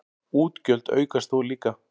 Útgjöld aukast þó líka.